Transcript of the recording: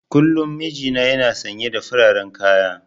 Kullum mijina yana sanye da fararen kaya.